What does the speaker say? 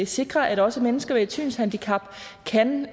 sikre at også mennesker med et synshandicap kan